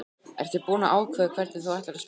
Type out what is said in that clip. Ertu búinn að ákveða hvernig þú ætlar að spila?